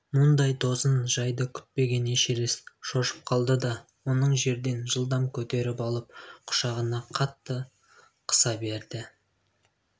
мұндай тосын жайды күтпеген эшерест шошып қалды да оны жерден жылдам көтеріп алып құшағына қатты оқыса берді